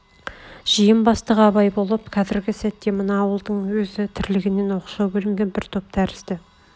жиын бастығы абай болып қазргі сәтте мына ауылдың өзге тірлігінен оқшау бөлінген бір топ тәрзді